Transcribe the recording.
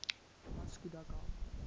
vasco da gama